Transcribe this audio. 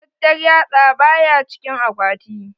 Matattar yatsa ba ya cikin akwati.